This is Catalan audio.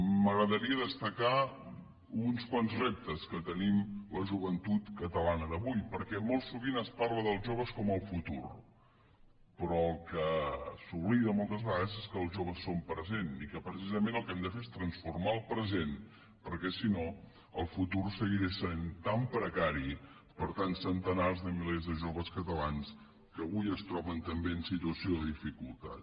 m’agradaria destacar uns quants reptes que tenim la joventut catalana d’avui perquè molt sovint es parla dels joves com el futur però el que s’oblida moltes vegades és que els joves són present i que precisament el que hem de fer és transformar el present perquè si no el futur seguirà sent tan precari per a tants centenars de milers de joves catalans que avui es troben també en situació de dificultat